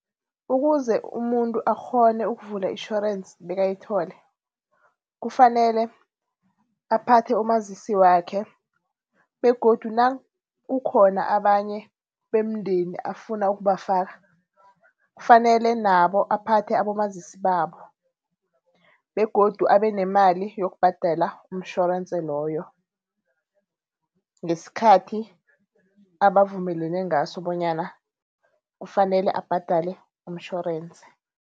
Ukuze umuntu akghone ukuvula itjhorense bekayithole, kufanele aphathe umazisi wakhe begodu nakukhona abanye bemndeni afuna ukubafaka kufanele nabo aphathe abomazisi babo. Begodu abe nemali yokubhadela umtjhorensi loyo ngesikhathi abavumelene ngaso bonyana kufanele abhadele umtjhorense.